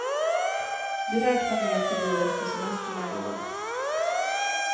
Vi räknar med att det blir efter semestrarna i år.